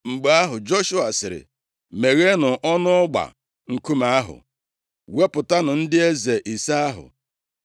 Mgbe ahụ Joshua sịrị, “Megheenụ ọnụ ọgba nkume ahụ, wepụtanụ ndị eze ise ahụ.”